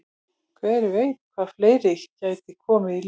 Hver veit hvað fleira gæti komið í ljós?